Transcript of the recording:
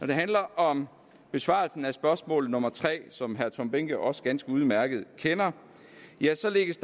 det handler om besvarelsen af spørgsmål nummer tre som herre tom behnke også ganske udmærket kender ja så lægges